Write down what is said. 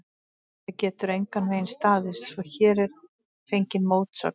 Þetta getur engan veginn staðist, svo hér er fengin mótsögn.